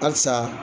Halisa